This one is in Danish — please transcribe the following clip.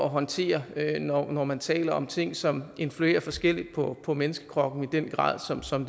håndtere når man taler om ting som influerer forskelligt på på menneskekroppen i den grad som som